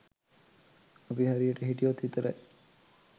අපි හරියට හිටියොත් විතරයි.